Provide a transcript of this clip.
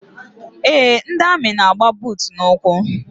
Eé, ndị amị na-agba buutu n'ụkwụ.